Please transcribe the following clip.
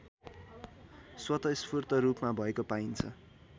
स्वतस्फूर्त रूपमा भएको पाइन्छ